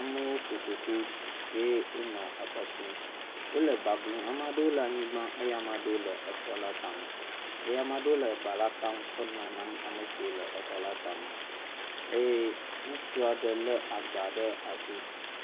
Amewo ƒoƒo ƒu eye wonɔ exɔ tum eye. Wòle eba nɔ blum eye ame aɖewo le anyigba eye ame aɖe le exɔ la tame eye ame aɖewo le eba la kam kɔ nam amesiwo le exɔ la tame eye ŋutsu ɖe le agba ɖe asi